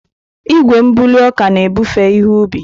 Igwe mbuli ọka na-ebufe ihe ubi.